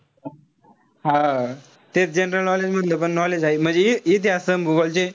हा. तेच general knowledge मधलं पण knowledge हाये. म्हणजे इतिहास अन भूगोल चे,